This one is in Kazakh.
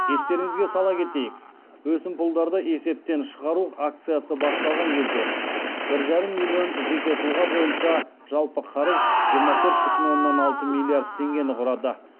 естеріңізге сала кетейік өсімпұлдарды есептен шығару акциясы басталған кезде бір жарым миллион жеке тұлға бойынша жалпы қарыз жиырма төрт бүтін оннан алты миллиард теңгені құрады